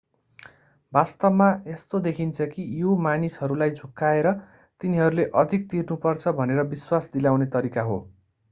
वास्तवमा यस्तो देखिन्छ कि यो मानिसहरूलाई झुक्याएर तिनीहरूले अधिक तिर्नुपर्छ भनेर विश्वास दिलाउने तरिका हो